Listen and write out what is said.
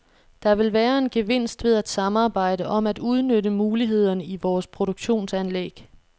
Der vil være en gevinst ved at samarbejde om at udnytte mulighederne i vores produktionsanlæg.